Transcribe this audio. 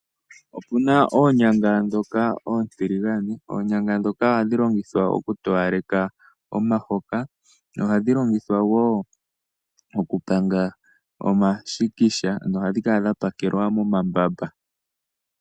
Opu na oonyanga ndhoka oontiligane. Ohadhi longithwa okutowaleka omahoka nosho woo okupanga omashikisha. Ohadhi kala dha pakelwa momambamba.